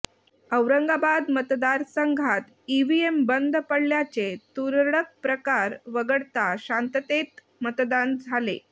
औरंगाबाद मतदारसंघात ईव्हीएम बंद पडल्याचे तुरळक प्रकार वगळता शांततेत मतदान झाले